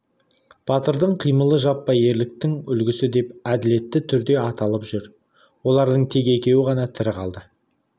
батырдың қимылы жаппай ерліктің үлгісі деп әділетті түрде аталып жүр олардың тек екеуі ғана тірі қалды